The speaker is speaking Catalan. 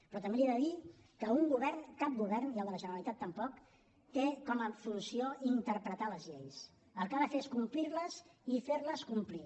però també li he de dir que cap govern i el de la generalitat tampoc té com a funció interpretar les lleis el que ha de fer és complir les i fer les complir